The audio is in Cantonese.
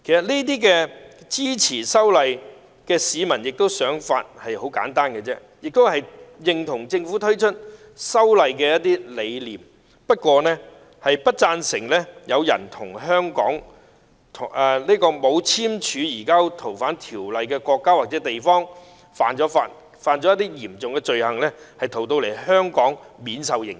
其實，支持修例市民的想法很簡單，就是認同政府推出修例的理念，不贊成有人在現時沒有與香港簽署移交逃犯協議的國家或地方犯了嚴重罪行後，再逃到香港免受刑責。